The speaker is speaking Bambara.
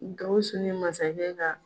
Gawusu ni masakɛ ka